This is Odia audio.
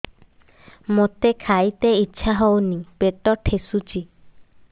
ମୋତେ ଖାଇତେ ଇଚ୍ଛା ହଉନି ପେଟ ଠେସୁଛି